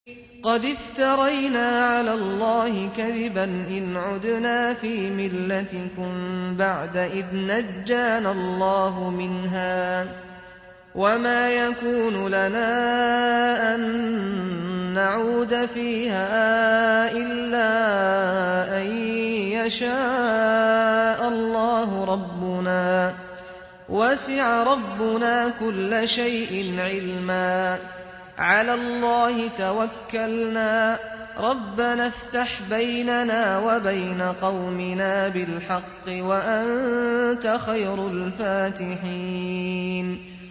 قَدِ افْتَرَيْنَا عَلَى اللَّهِ كَذِبًا إِنْ عُدْنَا فِي مِلَّتِكُم بَعْدَ إِذْ نَجَّانَا اللَّهُ مِنْهَا ۚ وَمَا يَكُونُ لَنَا أَن نَّعُودَ فِيهَا إِلَّا أَن يَشَاءَ اللَّهُ رَبُّنَا ۚ وَسِعَ رَبُّنَا كُلَّ شَيْءٍ عِلْمًا ۚ عَلَى اللَّهِ تَوَكَّلْنَا ۚ رَبَّنَا افْتَحْ بَيْنَنَا وَبَيْنَ قَوْمِنَا بِالْحَقِّ وَأَنتَ خَيْرُ الْفَاتِحِينَ